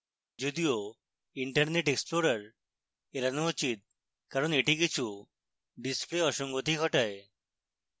যদিও internet explorer এড়ানো উচিত কারণ এটি কিছু display অসঙ্গতি ঘটায়